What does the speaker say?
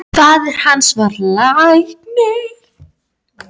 Faðir hans var læknir.